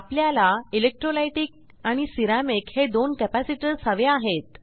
आपल्याला इलेक्ट्रोलायटिक आणि सेरामिक हे दोन कॅपॅसिटर्स हवे आहेत